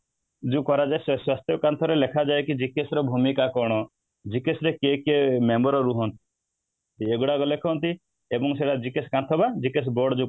ଯୋଉ କରାଯାଏ ସ୍ୱାସ୍ଥ୍ୟ କାନ୍ଥ ରେ ଲେଖାଯାଏ କି GKS ର ଭୂମିକା କ'ଣ ? GKS ରେ କିଏ କିଏ member ରୁହନ୍ତି ଏଇଗୁଡ଼ାକ ଲେଖନ୍ତି ଏବଂ ସେଇଗୁଡ଼ାକ GKS କାନ୍ଥ ବା GKS board